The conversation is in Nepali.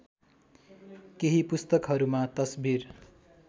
केही पुस्तकहरूमा तस्बिर